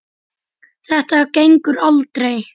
Þetta gengur aldrei.